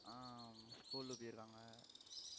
ஆஹ் school க்கு போயிருக்காங்க